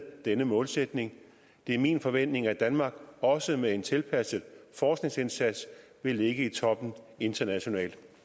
denne målsætning det er min forventning at danmark også med en tilpasset forskningsindsats vil ligge i toppen internationalt